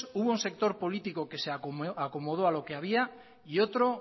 hubo un sector político que se acomodó a lo que había y otro